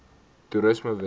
toerismewette